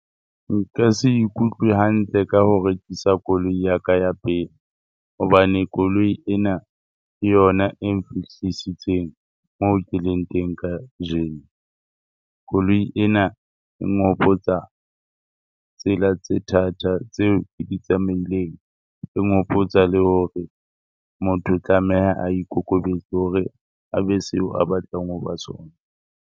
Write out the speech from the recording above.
Nka se ikutlwe hantle ka ho rekisa koloi ya ka ya pele. Hobane koloi ena ke yona e na hlaisitseng moo ke leng teng kajeno. Koloi ena e nghopotsa tsela tse thata tseo ke di tsamaileng. Ngopotsa le hore motho o tlameha a ikokobetse hore a be seo a batlang ho ba sona.